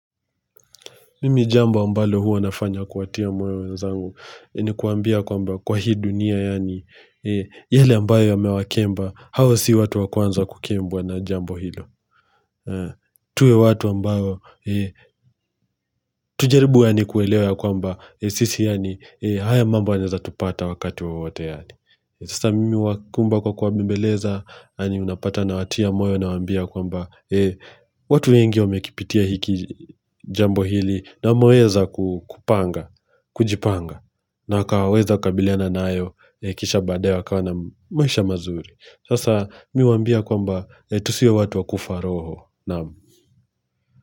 Mimi jambo ambalo huwa nafanya kuwatia moyo wenzangu ni kuwaambia kwamba kwa hii dunia yaani yale ambayo yamewakemba hao si watu wa kwanza kukembwa na jambo hilo. Tuwe watu ambayo tujaribu yaani kuelewa ya kwamba sisi yaani haya mambo yanaeza tupata wakati wowote yaani Sasa mimi huwakumba kwa kuwabembeleza yaani unapata nawatia moyo nawaambia ya kwamba watu wengi wamekipitia hiki jambo hili na wameweza kupanga, kujipanga na wakaweza kukabiliana nayo kisha baadaye wakawa na maisha mazuri. Sasa mi huwaambia kwamba tusiwe watu wa kufa roho.